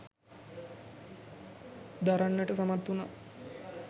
දරන්නට සමත් වුණා